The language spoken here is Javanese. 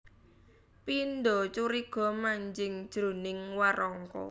Pindha curiga manjing jroning warangka